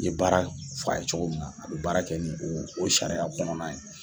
I ye baara fa ye cogo min a be baara kɛ ni o o sariya kɔnɔna ye